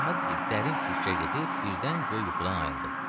Əhməd bir dərin fikrə gedib birdən göy yuxudan ayıldı.